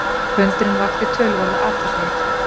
fundurinn vakti töluverða athygli